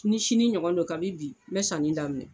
Ni sini ɲɔgɔn don kabi bi n bɛ sanni daminɛ